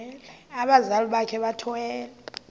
abazali bakhe bethwele